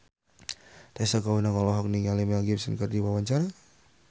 Tessa Kaunang olohok ningali Mel Gibson keur diwawancara